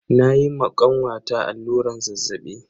Na yi ma kanwata alluran zazzaɓi.